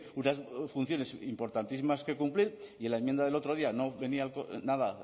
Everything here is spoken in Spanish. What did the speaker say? unas funciones importantísimas que cumplir y en la enmienda del otro día no venía nada